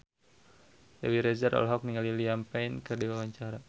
Dewi Rezer olohok ningali Liam Payne keur diwawancara